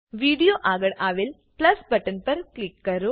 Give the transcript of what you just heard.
video આગળ આવેલ plus button પર ક્લિક કરો